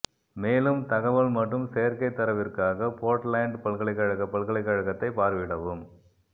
மேலும் தகவல் மற்றும் சேர்க்கைத் தரவிற்காக போர்ட்லேண்ட் பல்கலைக்கழகப் பல்கலைக்கழகத்தை பார்வையிடவும்